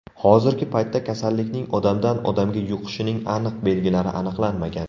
Hozirgi paytda kasallikning odamdan odamga yuqishining aniq belgilari aniqlanmagan.